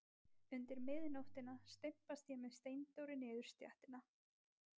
Undir miðnóttina stimpast ég með Steindóri niður stéttina.